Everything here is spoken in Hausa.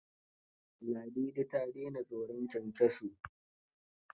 Ladidi ta daina tsoron kyankyaso?